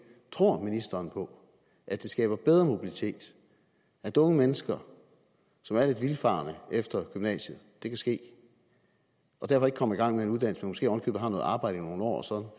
tror ministeren på at det skaber bedre mobilitet at unge mennesker som er lidt vildfarne efter gymnasiet det kan ske og derfor ikke kommer i gang med en uddannelse men måske oven i købet har noget arbejde i nogle år og så